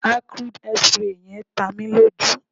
acrid hairspray yen ta mi loju